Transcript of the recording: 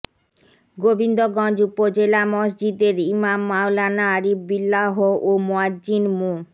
গোবিন্দগঞ্জ উপজেলা মসজিদের ইমাম মাওলানা আরিফ বিল্লাহ ও মোয়াজ্জিন মো